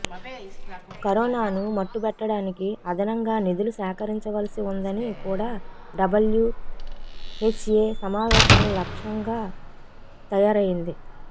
కరోనాను మట్టుబెట్టడానికి అదనంగా నిధులు సేకరించవలసి ఉందని కూడా డబ్లుహెచ్ఎ సమావేశాల లక్షంగా తయారైంది